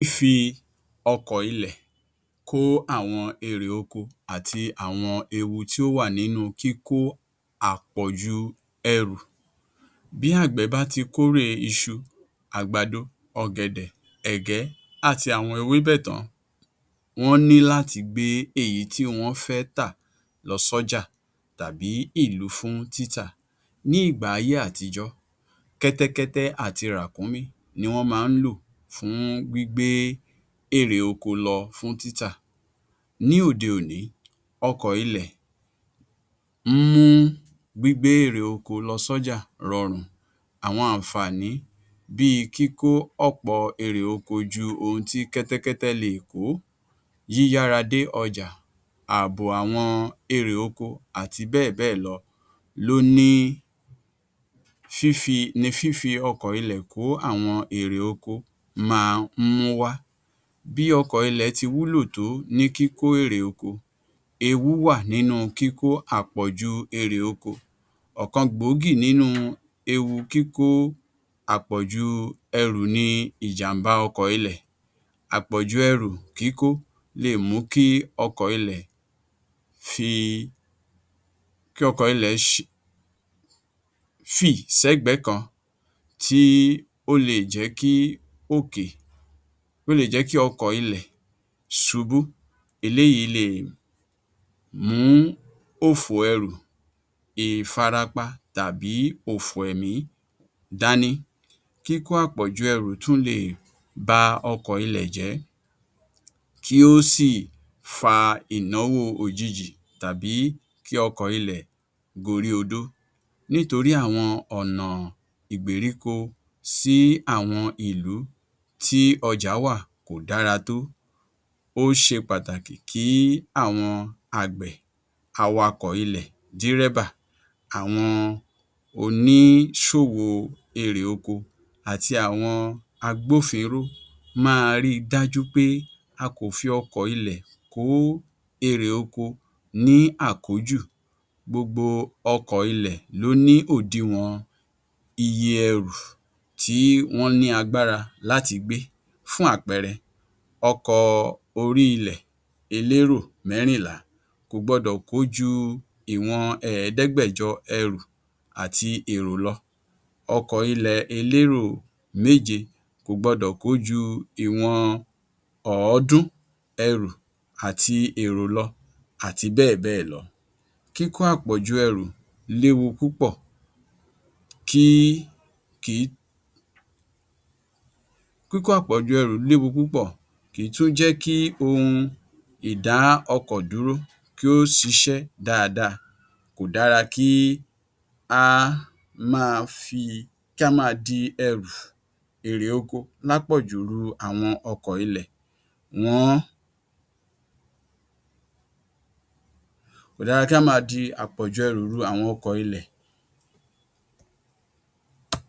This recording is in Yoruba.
Fífi ọkọ̀-ilẹ̀ kó àwọn èrè oko àti àwọn ewu tí ó wà nínú kíkó àpọ̀jù ẹrù. Bí àgbẹ̀ bá ti kórè iṣu, àgbàdo, ọ̀gẹ̀dẹ̀, ẹ̀gẹ́, àti àwọn ewébẹ̀ tán, wọ́n ní láti gbé èyí tí wọ́n fẹ́ tà lọ́jà tàbí ìlú fún títà. Ní ìgbà ayé-àtijọ́, kẹ́tẹ́kẹ́tẹ́ àti ràkúnmí ni wọ́n máa ń lò fún gbígbé èrè oko lọ fún títà. Ní òde-òní, ọkọ̀-ilẹ̀ ń mú gbígbé èrè oko lọ sí ọjà rọrùn, àwọn àǹfààní bí i kíkó ọ̀pọ̀ èrè oko ju ohun tí kẹ́tẹ́kẹ́tẹ́ le è kó, yíyára dé ọjà, àbọ̀ àwọn èrè oko àti bẹ́ẹ̀ bẹ́ẹ̀ lọ ní fífi ọkọ̀-ilẹ̀ kó àwọn èrè oko máa ń múwá bí ọkọ̀-ilẹ̀ ti wúlò tó ní kíkó èrè oko, ewu wà nínú kíkó àpọ̀jù èrè oko, ọ̀kan gbòógì nínú ewu kíkó àpọ̀jù ẹrù ni ìjàmbá ọkọ̀-ilẹ̀. Àpọ̀jù ẹrù kíkó le è mú kí ọkọ̀-ilẹ̀ fì sẹ́gbẹ̀ẹ́ kan tí ó le è jẹ́ kí ọkọ̀-ilẹ̀ ṣubú, eléyìí le è mú òfò ẹrù, ìfarapa tàbí òfò ẹ̀mí dání. Kíkó àpọ̀jù ẹrù tún le è ba ọkọ̀-ilẹ̀ jẹ́ kí ó sì fa ìnáwó òjijì, tàbí kí ọkọ̀-ilẹ̀ gorí odó nítorí àwọn ọ̀nà ìgbèríko sí àwọn ìlú tí ọjà wà kò dára tó, ó ṣe pàtàkì kí àwọn àgbẹ̀, awakọ̀ ilẹ̀, dírẹ́bà, àwọn oníṣòwò èrè oko àti àwọn agbófinró máa ri dájú pé a kò fi ọkọ̀-ilẹ̀ kó èrè oko ní àkójù, gbogbo ọkọ̀ ilẹ̀ ni ó ní òdiwọ̀n iye ẹrù tí wọ́n ní agbára láti gbé. Fún àpẹẹrẹ; ọkọ̀ orí-ilẹ̀ elérò mẹrìnlá kò gbọ́dọ̀ kó ju ìwọ̀n ẹ̀ẹ́dẹ́gbẹ̀jọ ẹrù ati èrò lọ, ọkọ̀-ilẹ̀ elérò méje kò gbọ́dọ̀ kó ju ìwọ̀n ọ̀ọ́dún ẹrù àti èrò lọ, àti bẹ́ẹ̀ bẹ́ẹ̀ lọ, kíkó àpọ̀ju ẹrù léwu púpọ̀, kìí tún jẹ́ kí ohun ìdá ọkọ̀ dúró kí ó ṣiṣẹ́ dáadáa, kò dára kí á máa di àpọ̀jù ẹrù lu àwọn ọkọ̀-ilẹ.